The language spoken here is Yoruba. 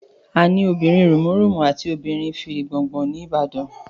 Àní obìrin rùmúrùmú àti obìrin fìrìgbòn ni ìbàdàn